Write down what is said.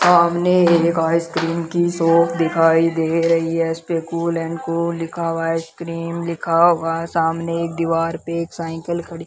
सामने एक आइसक्रीम की शॉप दिखाई दे रही है इस पे कूल एंड कूल लिखा हुआ है आइसक्रीम लिखा हुआ है सामने एक दीवार पे एक साइकील खड़ी --